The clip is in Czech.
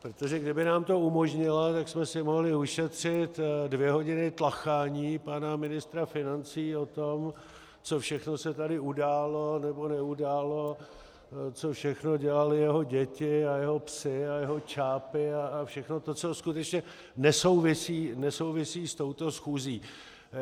Protože kdyby nám to umožnila, tak jsme si mohli ušetřit dvě hodiny tlachání pana ministra financí o tom, co všechno se tady událo nebo neudálo, co všechno dělaly jeho děti a jeho psi a jeho čápi, a všechno to, co skutečně nesouvisí s touto schůzí.